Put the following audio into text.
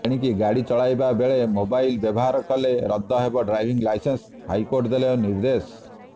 ଏଣିକି ଗାଡ଼ି ଚଲାଇବା ବେଳେ ମୋବାଇଲ ବ୍ୟବହାର କଲେ ରଦ୍ଦ ହେବ ଡ୍ରାଇଭିଂ ଲାଇସେନ୍ସ ହାଇକୋର୍ଟ ଦେଲେ ନିର୍ଦ୍ଦେଶ